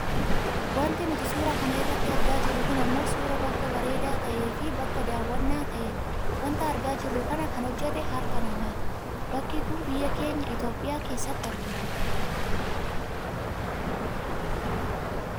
Wanti nuti suuraa kana irratti argaa jirru kun ammoo suuraa bakka bareedaa ta'eefi bakka daawwannaa ta'e dha wanta argaa jirru kana kan hojjate harka namaati. Bakki kun biyya keenya Itoopiyaa keessatti argama.